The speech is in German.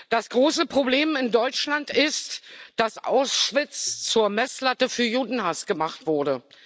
Das große Problem in Deutschland ist, dass Auschwitz zur Messlatte für Judenhass gemacht wurde.